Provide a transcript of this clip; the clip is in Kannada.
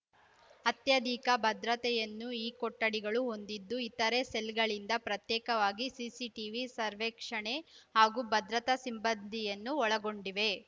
ಅತ್ಯಧಿಕ ಭದ್ರತೆಯನ್ನು ಈ ಕೊಠಡಿಗಳು ಹೊಂದಿದ್ದು ಇತರೆ ಸೆಲ್‌ಗಳಿಂದ ಪ್ರತ್ಯೇಕವಾಗಿವೆ ಸಿಸಿಟೀವಿ ಸರ್ವೇಕ್ಷಣೆ ಹಾಗೂ ಭದ್ರತಾ ಸಿಮ್ ಬ್ಬಂದಿಯನ್ನು ಒಳಗೊಂಡಿವೆ